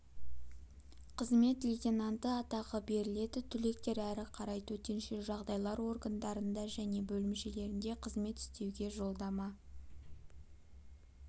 қызмет лейтенанты атағы беріледі түлектер әрі қарай төтенше жағдайлар органдарында және бөлімшелерінде қызмет істеуге жолдама